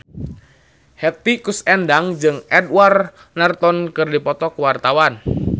Hetty Koes Endang jeung Edward Norton keur dipoto ku wartawan